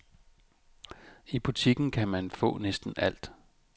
I butikken kan man få næsten alt.